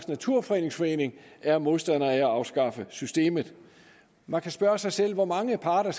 naturfredningsforening er modstander af at afskaffe systemet man kan spørge sig selv hvor mange parter